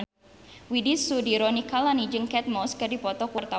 Widy Soediro Nichlany jeung Kate Moss keur dipoto ku wartawan